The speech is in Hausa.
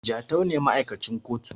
Jatau ne ma`aikacin kotu